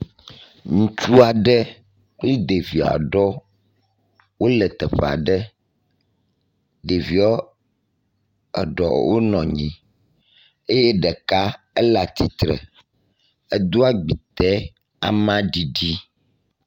Ŋutsu aɖe kpli ɖevi aɖewo wole teƒe aɖe ɖeviwo aɖo wonɔ nyi eye ɖeka ele atsi tre, edo agbite ama ɖiɖi